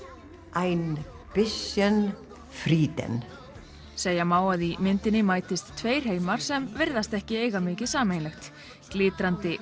ein Bisschen Frieden segja má að í myndinni mætist tveir heimar sem virðast ekki eiga mikið sameiginlegt glitrandi